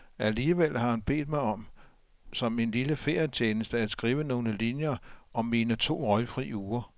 Alligevel har han bedt mig om, som en lille ferietjeneste, at skrive nogle linjer om mine to røgfri uger.